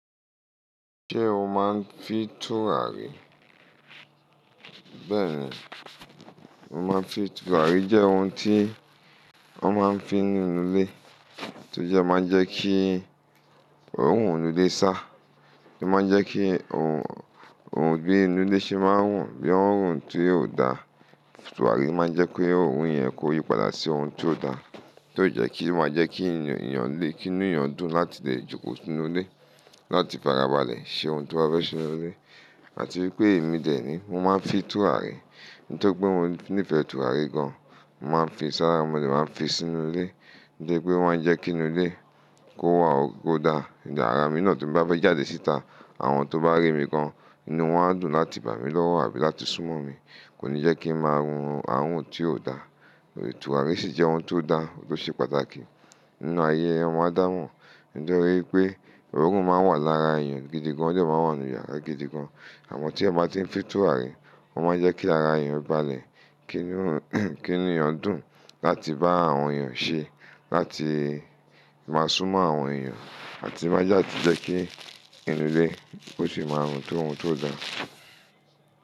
Ṣé o máa ń fí tùràrí? Bẹ́ẹ̀ ni, mo máa ń fi tùràrí. Tùràrí jẹ́ ohun tí wọ́n máa ń fi nínú ilé, tó jẹ́ máa ń jẹ́ kí òórùn inú ilé sá, tó máa ń jẹ́ kí òórùn, òórùn bí inú ilé ṣe máa ń rùn bí i òórùn tí kò dá, tùràrí máa ń jẹ́ pé òórùn yẹn kó yípadà sí ohun tó dá, tó jẹ́ kí ó máa jẹ́ kí èèyàn lé, kí inú èèyàn dùn láti lè jókòó sínú ilé, láti bàràbàlẹ̀ ṣe ohun tó bá fẹ ṣe nínú ilé. Àti wípé èmi dè re ni mo máa ń fi tùràrí, nítorí pé mo nífẹ̀ẹ́ tùràrí gan. Mo máa ń fi sára, mo dè máa ń fi sínú ilé, nítorípé ọ ma ń jẹ́ kí inú ilé kó wà kó dá. Ìyàrá mi náà tó bá fẹ́ jáde síta, àwọn tó bá rí mi gan, inú wọn á dùn láti bà mí lọ́wọ́ àbí láti súnmọ́ mi. Kò ní jẹ́ kí ń máa rùn àwọn ohun tí ò da. Tùràrí sì jẹ́ ohun tó dá, tó ṣe pàtàkì nínú ayé ọmọ adámọ́. Nítorí pé òórùn máa ń wà lára èèyàn gidi gan, ó jẹ́ máa ń wà nínú ìyàrá gidi gan. Àmọ́ tí ẹ́ bá ti ń fi tùràrí, ó máa ń jẹ́ kí ara èèyàn balẹ̀, kí inú, kí inú èèyàn dùn láti bá àwọn èèyàn ṣe, láti máa súnmọ́ àwọn èèyàn, àti má jàdé jẹ́ kí inú ilé ó sì máa rùn tó ohun tó dá.